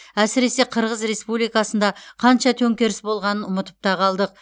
әсіресе қырғыз республикасында қанша төңкеріс болғанын ұмытып та қалдық